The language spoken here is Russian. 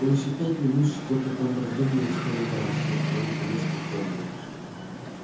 он ещё минут пять что-то там раздумывал и вспоминал но потом наконец припомнил